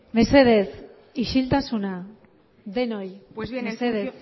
mesedez isiltasuna denoi mesedez pues bien